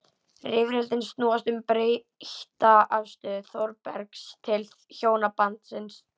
Rifrildin snúast um breytta afstöðu Þórbergs til hjónabandsins.